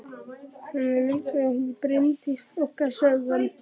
Hún er myndarleg, hún Bryndís okkar, sagði hann.